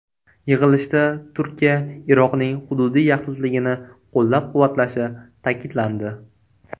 Yig‘ilishda Turkiya Iroqning hududiy yaxlitligini qo‘llab-quvvatlashi ta’kidlandi.